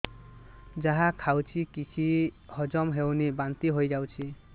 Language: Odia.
ଯାହା ଖାଉଛି କିଛି ହଜମ ହେଉନି ବାନ୍ତି ହୋଇଯାଉଛି